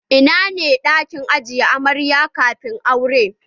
Ina ne ɗakin ajiye amarya kafin aure?